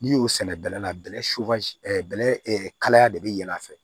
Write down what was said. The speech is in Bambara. N'i y'o sɛnɛ bɛlɛ la bɛlɛ bɛlɛ kalaya de bɛ yɛlɛ a fɛ